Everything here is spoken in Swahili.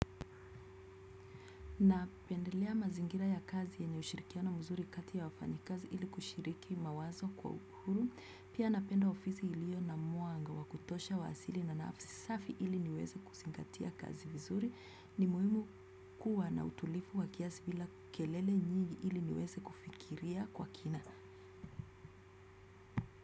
Napendelea mazingira ya kazi yenye ushirikiano mzuri kati ya wafanyiazi ili kushiriki mawazo kwa ukuru. Pia napenda ofisi ilio na mwanga wa kutosha wa asili na nafisafi ili niweze kuzingatia kazi vizuri. Ni muhimu kuwa na utulifu wa kiasi bila kelele nyingi ili niweze kufikiria kwa kina.